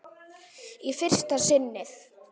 Í fyrsta sinnið.